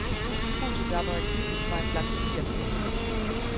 Husets aperitif var en slags kirr. punktum